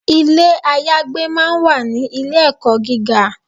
Ilé ayagbé máa ń wà ní ilé ẹ̀kọ́ gíga.